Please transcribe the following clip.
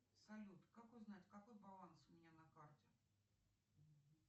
салют как узнать какой баланс у меня на карте